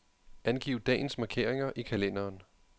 Angiv dagens markeringer i kalenderen.